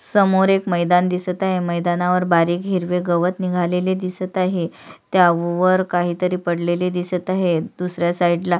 समोर एक मैदान दिसत आहे मैदानावर बारीक हिरवे गवत निघालेले दिसत आहे त्यावर काहीतरी पडलेले दिसत आहे दुसऱ्या साईड ला--